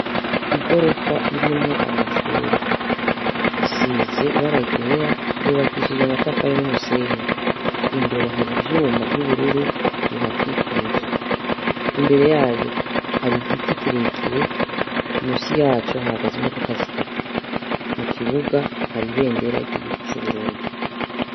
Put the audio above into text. Igorofa irimwo amacure, isize ibaragera yubakishije amatafari n'umusenyi, imbere hari ivyuma vy'ubururu bihakikuje, imbere yayo hari igiti kirekire umusi yaco hagaze imodoka zitatu mu kibuga taribendera giga ico uburundi.